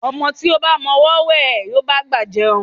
Ọmọ tí ó ba mọ ọwọ́ wẹ̀, yóò bá'gbà jẹun.